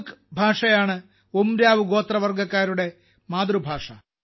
കുഡൂഖ് ഭാഷയാണ് ഉരാംവ് ഗോത്രവർഗക്കാരുടെ മാതൃഭാഷ